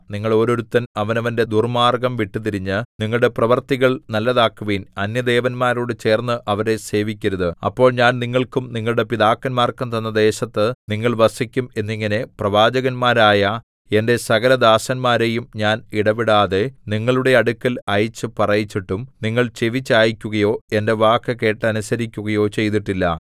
നിങ്ങൾ ഓരോരുത്തൻ അവനവന്റെ ദുർമ്മാർഗ്ഗം വിട്ടുതിരിഞ്ഞ് നിങ്ങളുടെ പ്രവൃത്തികൾ നല്ലതാക്കുവിൻ അന്യദേവന്മാരോടു ചേർന്ന് അവരെ സേവിക്കരുത് അപ്പോൾ ഞാൻ നിങ്ങൾക്കും നിങ്ങളുടെ പിതാക്കന്മാർക്കും തന്ന ദേശത്ത് നിങ്ങൾ വസിക്കും എന്നിങ്ങനെ പ്രവാചകന്മാരായ എന്റെ സകലദാസന്മാരെയും ഞാൻ ഇടവിടാതെ നിങ്ങളുടെ അടുക്കൽ അയച്ചു പറയിച്ചിട്ടും നിങ്ങൾ ചെവി ചായിക്കുകയോ എന്റെ വാക്കു കേട്ടനുസരിക്കുകയോ ചെയ്തിട്ടില്ല